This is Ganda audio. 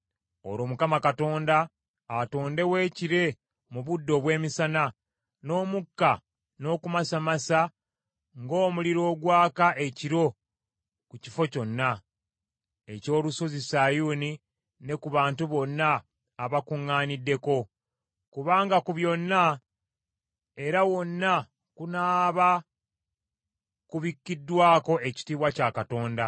Olwo Mukama Katonda atondewo ekire mu budde obw’emisana, n’omukka n’okumasaamasa ng’omuliro ogwaka ekiro ku kifo kyonna eky’olusozi Sayuuni ne ku bantu bonna abakuŋŋaaniddeko; kubanga ku byonna era wonna kunaaba kubikkiddwako ekitiibwa kya Katonda.